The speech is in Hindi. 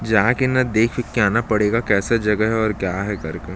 जा के न देख उख के आना पड़ेगा कैसा जगह है और क्या है करके--